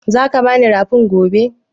Za ka bi ni rafin gobe?